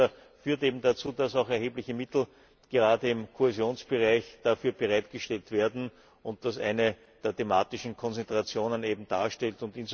Das führt eben dazu, dass auch erhebliche Mittel gerade im Kohäsionsbereich dafür bereitgestellt werden und das eine der thematischen Konzentrationen darstellt.